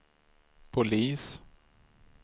polis